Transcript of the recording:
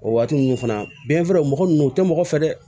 O waati ninnu fana binfara o mɔgɔ ninnu o tɛ mɔgɔ fɛ dɛ